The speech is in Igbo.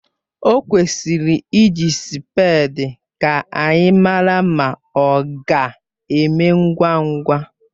O kwesịrị iji spèdi ka anyị mara ma ọ ga-eme ngwa ngwa